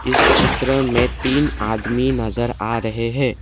इस चित्र में तीन आदमी नजर आ रहे हैं।